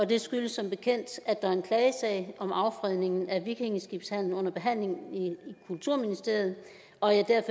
det skyldes som bekendt at der er en klagesag om affredning af vikingeskibshallen under behandling i kulturministeriet og at jeg